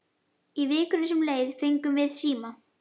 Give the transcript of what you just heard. Í vikunni sem leið fengum við síma.